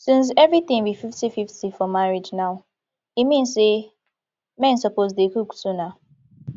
since everything be fifty fifty for marriage now e mean say men suppose dey cook too nah